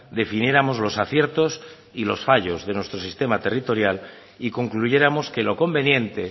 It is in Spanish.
definiéramos los aciertos y los fallos de nuestro sistema territorial y concluyéramos que lo conveniente